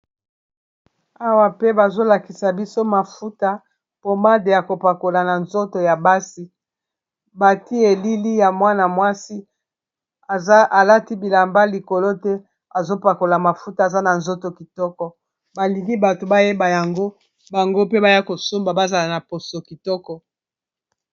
Awa pe bazolakisa biso mafuta pomade ya kopakola na nzoto ya basi batie elili ya mwana-mwasi alati bilamba likolo te azopakola mafuta aza na nzoto kitoko balingi bato bayeba yango bango pe baya kosomba bazala na poso kitoko.